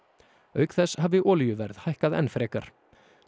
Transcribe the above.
auk þess hafi olíuverð hækkað enn frekar